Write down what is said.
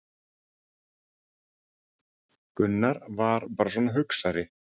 Gunni VAR bara svona hugsari.